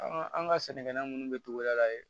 an ka sɛnɛkɛla minnu bɛ togoda la yen